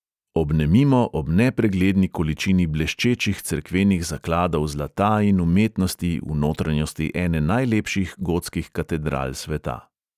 Obnemimo ob nepregledni količini bleščečih cerkvenih zakladov zlata in umetnosti v notranjosti ene najlepših gotskih katedral sveta.